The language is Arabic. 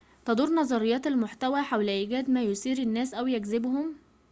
تدور نظريات المحتوى حول إيجاد ما يثير الناس أو يجذبهم